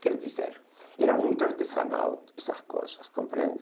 Quero dizer, era muito artesanal essas coisas, compreende?